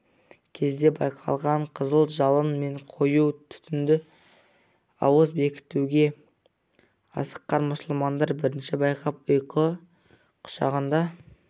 кезде байқалған қызыл жалын мен қою түтінді ауыз бекітуге асыққан мұсылмандар бірінші байқап ұйқы құшағында